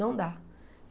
Não dá.